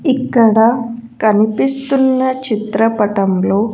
ఇక్కడ కనిపిస్తున్న చిత్రపటంలో.